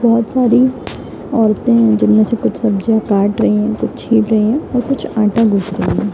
बहुत सारी औरतें जिनमे से कुछ सब्जियों काट रही हैं कुछ छील रही हैं और कुछ आटा गूंद रही हैं |